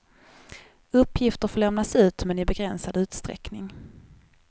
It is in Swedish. Uppgifter får lämnas ut, men i begränsad utsträckning.